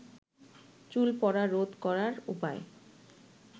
চুল পড়া রোধ করার উপায়